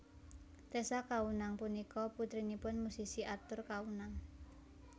Tessa Kaunang punika putrinipun musisi Arthur Kaunang